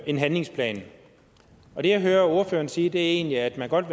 en handlingsplan og det jeg hører ordføreren sige er egentlig at man godt